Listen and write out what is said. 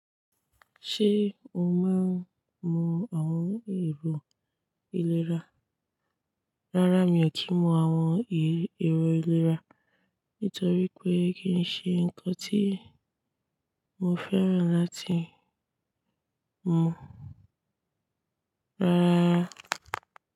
Ṣé o máa ń mu àwọn èrò ìlera? Rárá, mi ò kí ń mu àwọn èrò ìlera, nítorí pé kì í ṣe nǹkan tí mo fẹ́ràn láti mu. Rárá.